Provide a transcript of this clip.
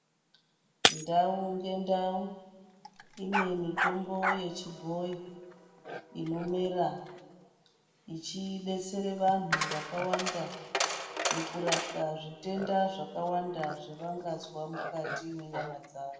Ndau ngendau ine mitombo yechibhoyi Inomera ichidetsere vanhu vakawanda mukurapwa zvitenda zvakawanda zvavangazwa mukati mwenyama dzawo.